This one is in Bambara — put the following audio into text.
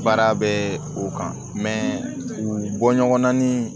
Baara bɛ o kan u bɔ ɲɔgɔnna ni